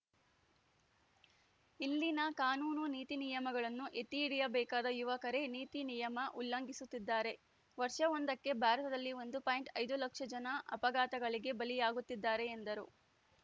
ಇಲ್ಲಿನ ಕಾನೂನು ನೀತಿ ನಿಯಮಗಳನ್ನು ಎತ್ತಿ ಹಿಡಿಯಬೇಕಾದ ಯುವಕರೇ ನೀತಿ ನಿಯಮ ಉಲ್ಲಂಘಿಸುತ್ತಿದ್ದಾರೆ ವರ್ಷವೊಂದಕ್ಕೆ ಭಾರತದಲ್ಲಿ ಒಂದು ಪಾಯಿಂಟ್ ಐದು ಲಕ್ಷ ಜನ ಅಪಘಾತಗಳಿಗೆ ಬಲಿಯಾಗುತ್ತಿದ್ದಾರೆ ಎಂದರು